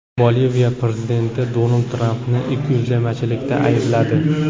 Boliviya prezidenti Donald Trampni ikkiyuzlamachilikda aybladi.